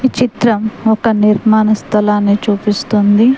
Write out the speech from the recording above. చిత్రం ఒక నిర్మాన స్థలాన్ని చూపిస్తుంది.